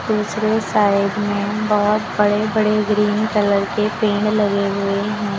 दूसरे साइड में बहुत बड़े बड़े ग्रीन कलर के पेड़ लगे हुए हैं।